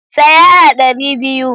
Tsaya a ɗari biyu!